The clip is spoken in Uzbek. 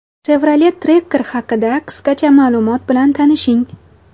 Chevrolet Tracker haqida qisqacha ma’lumot bilan tanishing.